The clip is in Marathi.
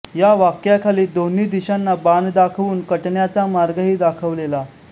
या वाक्याखाली दोन्ही दिशांना बाण दाखवून कटण्याचा मार्गही दाखवलेला